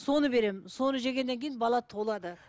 соны беремін соны жегеннен кейін бала толады